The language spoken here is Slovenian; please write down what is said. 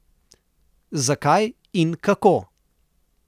Zakaj in kako?